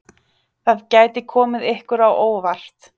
Það gæti komið ykkur á óvart!